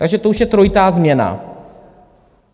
Takže to už je trojitá změna.